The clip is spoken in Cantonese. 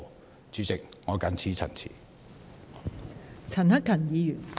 代理主席，我謹此陳辭。